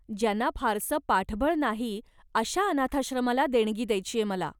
ज्यांना फारसं पाठबळ नाही अशा अनाथाश्रमाला देणगी द्यायचीय मला.